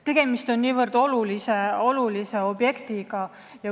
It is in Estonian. Tegemist on niivõrd olulise objektiga.